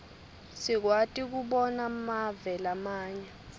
sikwati kobona mave lamanye